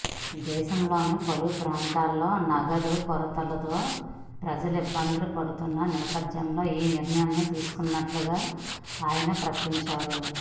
దేశంలోని పలు ప్రాంతాల్లో నగదు కొరతతో ప్రజలు ఇబ్బందులు పడుతున్న నేపథ్యంలో ఈ నిర్ణయం తీసుకొన్నట్టుగా ఆయన ప్రకటించారు